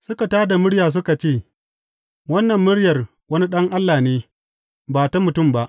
Suka tā da murya suka ce, Wannan muryar wani allah ne, ba ta mutum ba.